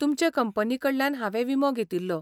तुमचे कंपनी कडल्यान हांवें विमो घेतिल्लो.